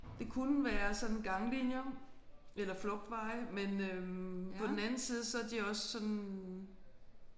Det kunne være sådan ganglinjer eller flugtveje men øh på den anden side så er de også sådan